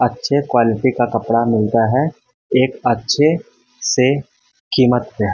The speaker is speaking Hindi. अच्छे क्वालिटी का कपड़ा मिलता है एक अच्छे से कीमत पे।